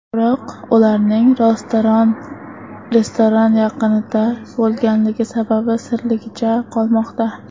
Biroq ularning restoran yaqinida bo‘lganligi sababi sirligicha qolmoqda.